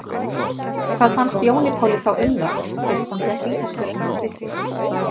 Hvað fannst Jóni Páli þá um það fyrst hann fékk vítaspyrnuna á sitt lið?